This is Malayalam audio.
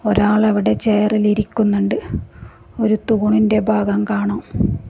ഒരാൾ അവിടെ ചെയറിൽ ഇരിക്കുന്നുണ്ട് ഒരു തൂണിന്റെ ഭാഗം കാണാം.